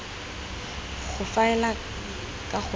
go faela ka go nna